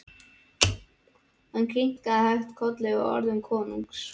Hann kinkaði hægt kolli við orðum konungs.